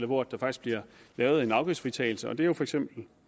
hvor der faktisk bliver lavet en afgiftsfritagelse og det er for eksempel